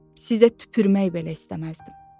Sizə tüpürmək belə istəməzdim.